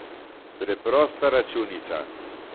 Preprosta računica.